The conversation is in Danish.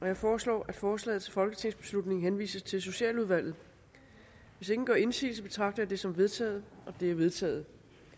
jeg foreslår at forslaget til folketingsbeslutning henvises til socialudvalget hvis ingen gør indsigelse betragter jeg det som vedtaget det vedtaget